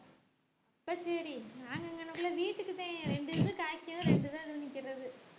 அப்ப சரி நாங்க வீட்டுக்கு தான் ரெண்டு ரெண்டு காய்க்கும் ரெண்டு தான் அதுல நிக்கறது